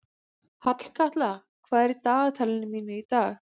Hallkatla, hvað er í dagatalinu mínu í dag?